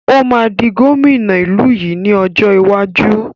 Ó máa di gómìnà ìlú yìí ni ọjọ́ iwájú.